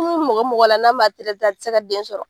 mɔgɔ mɔgɔ la n'a man a tɛ se ka den sɔrɔ.